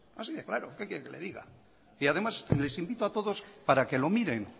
así de claro qué quiere que le diga y además les invito a todos para que lo miren